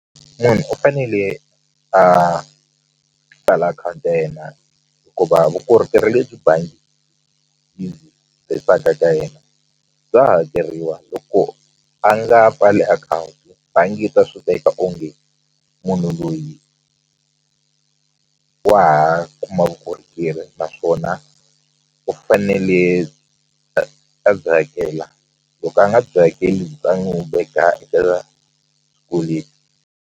Munhu u fanele a pfala akhawunti ya yena hikuva vukorhokeri lebyi bangi yi tisaka ka yena bya hakeriwa loko a nga pfali akhawunti bangi yi ta swi teka onge munhu loyi wa ha kuma vukorhokeri naswona u fanele a byi hakela loko a nga byi hakeli va n'wu .